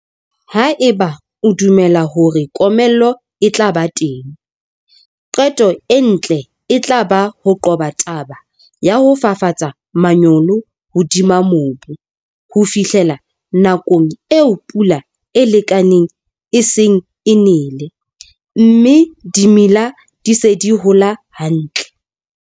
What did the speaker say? Haeba o dumela hore komello e tla ba teng, qeto e ntle e tla ba ho qoba taba ya ho fafatsa manyolo hodima mobu ho fihlela nakong eo pula e lekaneng e seng e nele, mme dimela di se di hola hantle.